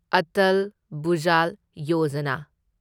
Atal Bhujal Yojana